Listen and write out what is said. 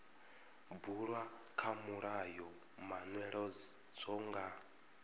bulwa kha mulayo manweledzo nga